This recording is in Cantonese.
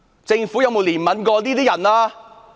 政府有否憐憫過這些人？